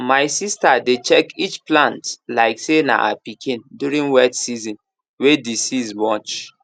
my sista dey check each plant like say na her pikin during wet season way disease much